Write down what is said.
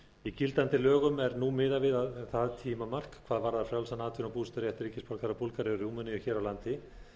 í gildandi lögum er nú miðað við það tímamark hvað varðar frjálsan atvinnu og búseturétt ríkisborgara búlgaríu og rúmeníu hér á landi